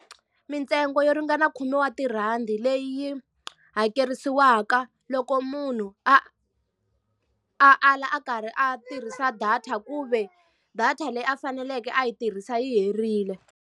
Mintsengo yo ringana khume wa tirhandi leyi hakerisiwaka loko munhu a a ala a karhi a tirhisa data ku ve data leyi a faneleke a yi tirhisa yi herile.